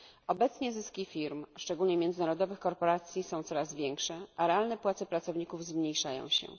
Obecnie zyski firm szczególnie międzynarodowych korporacji są coraz większe, a realne płace pracowników zmniejszają się.